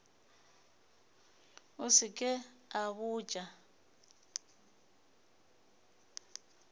a se ke a botša